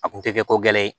A kun tɛ kɛ ko gɛlɛ ye